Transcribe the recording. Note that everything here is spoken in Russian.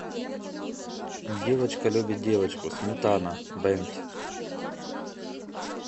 девочка любит девочку сметана бэнд